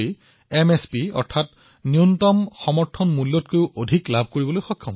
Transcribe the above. এইবাৰ বহু ঠাইত কৃষকসকলে সৰিয়হৰ বাবে এমএছপি মূল্যতকৈ অধিক লাভ কৰিছে